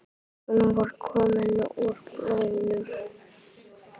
Hún var komin úr bolnum.